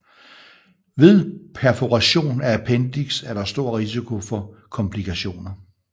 Ved perforation af appendix er der stor risiko for komplikationer